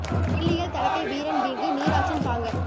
will இயல் தடக் கை வீரன் வீங்கு நீர் ஆற்றின் பாங்கர்